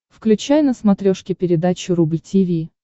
включай на смотрешке передачу рубль ти ви